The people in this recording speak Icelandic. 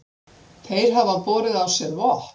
Þeir hafi borið á sér vopn